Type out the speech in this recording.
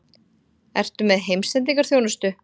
Ertu með heimsendingarþjónustu?